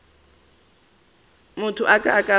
motho a ka ba a